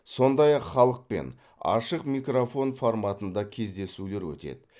сондай ақ халықпен ашық микрофон форматында кездесулер өтеді